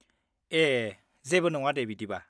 ए, जेबो नङा दे बिदिबा।